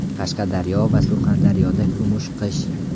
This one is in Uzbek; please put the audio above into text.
Qashqadaryo va Surxondaryoda kumush qish.